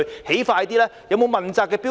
是否設有問責的標準？